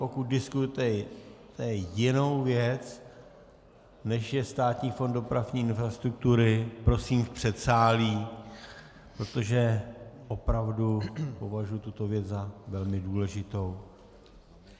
Pokud diskutujete jinou věc, než je Státní fond dopravní infrastruktury, prosím v předsálí, protože opravdu považuji tuto věc za velmi důležitou.